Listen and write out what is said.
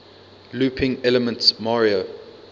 looping elements mario